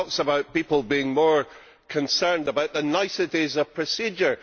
He talks about people being more concerned about the niceties of procedure.